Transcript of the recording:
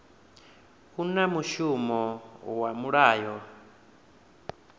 u na mushumo iwa mulayo